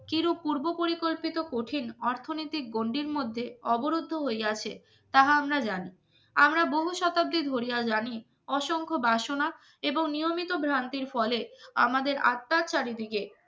চির পূর্ব পরিকল্পিত কঠিন অর্থনৈতিক গণ্ডির মধ্যে অবরুদ্ধ হইয়াছে তা আমরা জানি আমরা বহু শতাব্দী ধরিয়া জানি অসংখ্য বাসনা এবং নিয়মিত ভ্রান্তির ফলে আমাদের আত্মার চারিদিকে